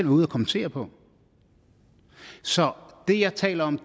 ude at kommentere på så det jeg taler om